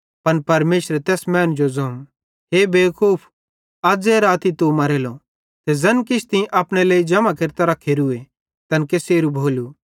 पन परमेशरे तैस मैनू जो ज़ोवं हे बेवकूफ अज़े राती तू मरेलो ते ज़ैन किछ तीं अपने लेइ जम्हां केरतां रखेरुए तैन केसेरू भोलू